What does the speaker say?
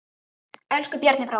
Elsku Bjarni bróðir.